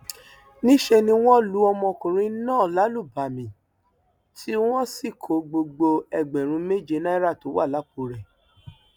níṣẹ ni wọn lu ọmọkùnrin náà lálùbami tí wọn sì kó gbogbo ẹgbẹrún méje náírà tó wà lápò rẹ